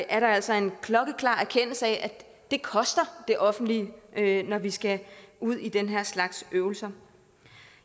er der altså en klokkeklar erkendelse af at det koster det offentlige når vi skal ud i den her slags øvelser